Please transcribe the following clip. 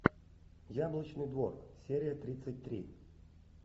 яблочный двор серия тридцать три